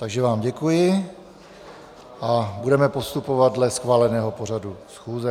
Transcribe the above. Takže vám děkuji a budeme postupovat dle schváleného pořadu schůze.